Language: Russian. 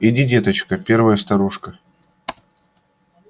иди деточка первая старушка